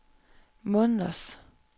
måneders